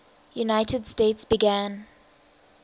united states began